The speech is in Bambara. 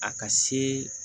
A ka se